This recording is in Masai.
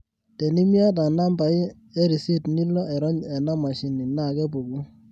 tenimiata nambai e risit nilo airony ena mashini na kepuku